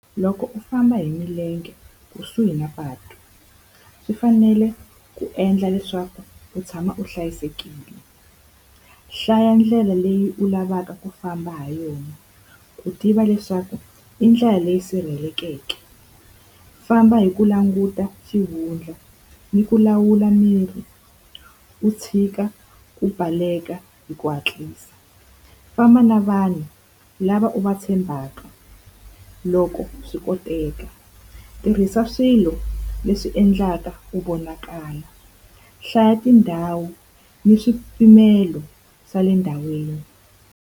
Loko u famba hi milenge kusuhi na patu, swi fanele ku endla leswaku u tshama u hlayisekile. Hlaya ndlela leyi u lavaka ku famba ha yona ku tiva leswaku i ndlela leyi sirhelelekeke, ku famba hi ku languta xihundla ni ku lawula miri, u tshika ku baleka hi ku hatlisa. Famba na vanhu lava u va tshembaka. Loko swi koteka tirhisa swilo leswi endlaka ku vonakala, hlaya tindhawu ni swipimelo swa le ndhawini.